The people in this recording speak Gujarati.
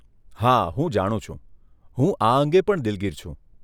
હા હું જાણું છું! હું આ અંગે પણ દિલગીર છું.